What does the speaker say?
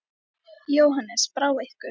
Jóhannes: Brá ykkur?